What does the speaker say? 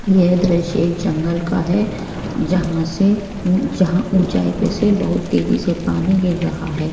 ये दृश्य एक जंगल का है जहां से उ जहां ऊंचाई पे से बहुत तेजी से पानी गिर रहा है।